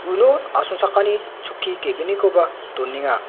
uno asongchakani chokki ge·gnikoba donenga.